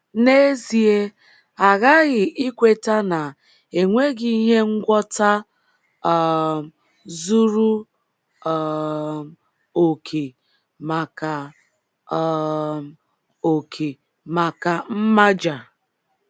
N’ezie, a ghaghị ikweta na e nweghị ihe ngwọta um zuru um okè maka um okè maka mmaja.